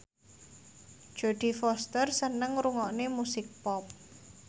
Jodie Foster seneng ngrungokne musik pop